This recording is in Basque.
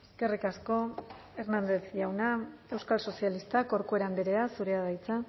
eskerrik asko hernández jauna euskal sozialistak corcuera andrea zurea da hitza